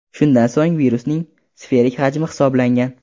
Shundan so‘ng virusning sferik hajmi hisoblangan.